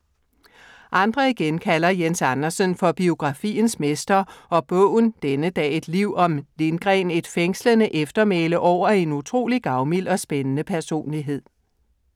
Andre igen kalder Jens Andersen for biografiens mester og bogen Denne dag, et liv om Lindgren er et fængslende eftermæle over en utrolig gavmild og spændende personlighed.